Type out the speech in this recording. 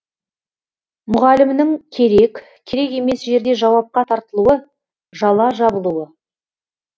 мұғалімнің керек керек емес жерде жауапқа тартылуы жала жабылуы